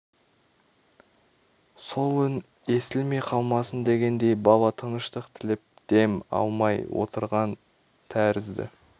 сол үн естілмей қалмасын дегендей бала тыныштық тілеп дем алмай отырған тәрізді